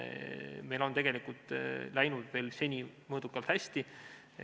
Meil on tegelikult läinud seni veel mõõdukalt hästi.